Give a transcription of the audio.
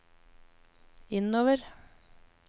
innover